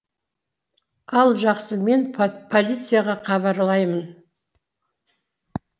ал жақсы мен полицияға хабарлаймын